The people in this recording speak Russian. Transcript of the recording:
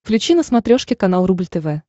включи на смотрешке канал рубль тв